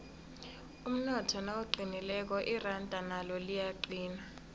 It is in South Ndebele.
umnotho nawuqinileko iranda nalo liyaqina